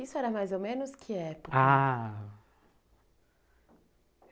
Isso era mais ou menos que época? ah...